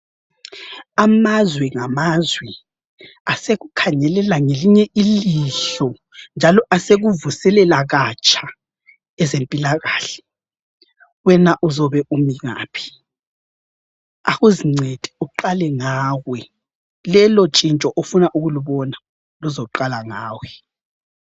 Amazwe ngamazwe asekukhangelela ngelinye ilihlo njalo asekuvuselela katsha ezempilakahle. Wena uzobe umi ngaphi? Akuzincede uqale ngawe lelotshintsho ofuna ukulubona luzoqala ngawe.